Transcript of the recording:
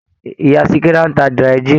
Ìyá Sikira ń ta dry gin.